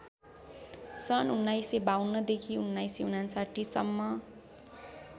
सन् १९५२ देखि १९५९ सम्म